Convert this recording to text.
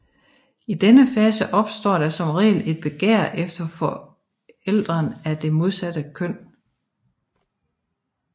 I denne fase opstår der som regel et begær efter forælderen af det modsatte køn